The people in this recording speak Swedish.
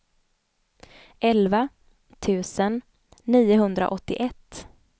elva tusen niohundraåttioett